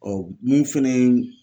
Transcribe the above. mun fɛnɛ ye